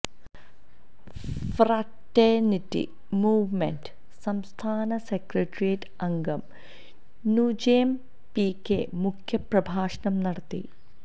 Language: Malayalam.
ഫ്രറ്റേണിറ്റി മൂവ്മെന്റ് സംസ്ഥാന സെക്രട്ടറിയേറ്റ് അംഗം നുജെം പി കെ മുഖ്യപ്രഭാഷണം നടത്തി